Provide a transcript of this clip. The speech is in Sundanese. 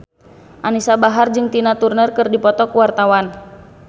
Anisa Bahar jeung Tina Turner keur dipoto ku wartawan